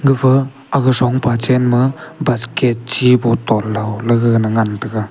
gafa aga songpha chen ma basket chi bottle lo gaga ngan tega.